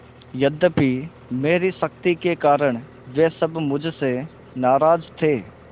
यद्यपि मेरी सख्ती के कारण वे सब मुझसे नाराज थे